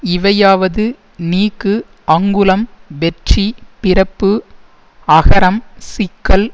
இவையாவது நீக்கு அங்குளம் வெற்றி பிறப்பு அகரம் சிக்கல்